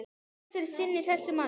Flokks er sinni þessi maður.